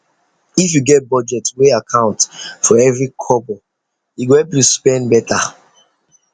if you get budget wey account for every kobo e go help you spend better